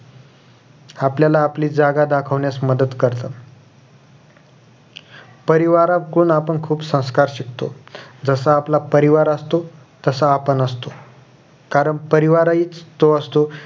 आपल्याला आपली जागा दाखवण्यास मदत करतं परिवारातून आपण खुप संस्कार शिकतो जसं आपला परिवार असतो तसं आपण असतो कारण परिवार हीच तो असतो